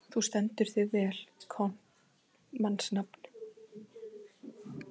Þú stendur þig vel, Kort (mannsnafn)!